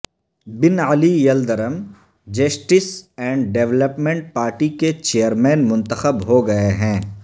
bin Ali Yildirim justice and development party کے chairman منتخب ہو گئے ہیں